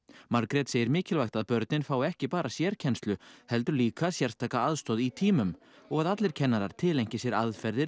Margrét segir mikilvægt að börnin fái ekki bara sérkennslu heldur líka sérstaka aðstoð í tímum og að allir kennarar tileinki sér aðferðir